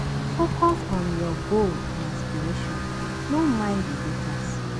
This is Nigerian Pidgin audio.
Focus on your goal and aspiration, no mind di haters.